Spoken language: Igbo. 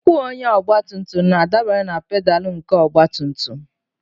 Ụkwụ onye ọgbatumtum na-adabere na pedalụ nke ọgbatumtum